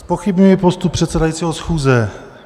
Zpochybňuji postup předsedajícího schůze.